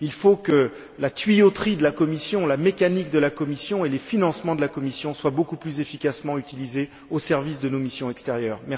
Il faut que les circuits de la Commission, la mécanique de la Commission et les financements de la Commission soient beaucoup plus efficacement utilisés au service de nos missions extérieures.